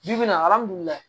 Bi bi in na alihamudulila